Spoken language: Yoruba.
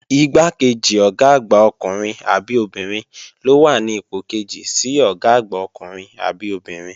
Igbákejì Ọ̀gá àgbà ọkùnrin àbí obìnrin ló wà ní ipò kejì sí Ọ̀gá àgbà ọkùnrin àbí obìnrin